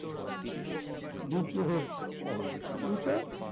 বিদ্রোহের শহর এইটা